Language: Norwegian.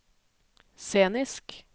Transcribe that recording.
scenisk